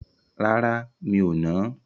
Rárá, mi ò nà á.